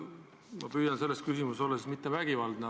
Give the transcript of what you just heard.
Ma püüan selle küsimusega mitte olla siis vägivaldne.